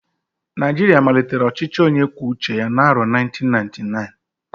Naijiria malitere ọchịchị onye kwuo uche ya n'arọ 1999